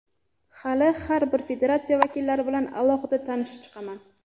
Hali har bir federatsiya vakillari bilan alohida tanishib chiqaman.